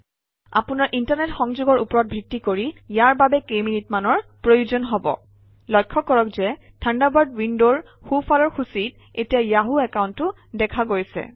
আপোনৰ ইণ্টাৰনেট সংযোগৰ ওপৰত ভিত্তি কৰি ইয়াৰ বাবে কেইমিনিটমানৰ প্ৰয়োজন হব লক্ষ্য কৰক যে থাণ্ডাৰবাৰ্ড উইণ্ডৰ সোঁফালৰ সূচীত এতিয়া য়াহু একাউণ্টটো দেখা গৈছে